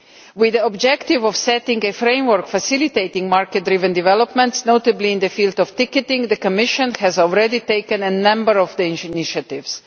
With the objective of setting a framework facilitating market-driven developments, notably in the field of ticketing, the Commission has already taken a number of these initiatives.